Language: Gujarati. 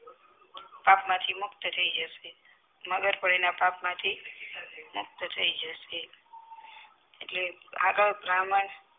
પાપ માં થી મુક્ત થઈ જસે મગર પણ આના પાપ માં થી મુક્ત થઈ જસે એટલે આગડ બ્રાહ્મણ